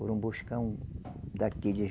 Foram buscar um daqueles...